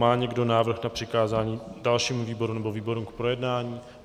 Má někdo návrh na přikázání dalšímu výboru nebo výborům k projednání?